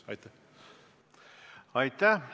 Aitäh!